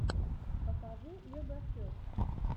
покажи легофест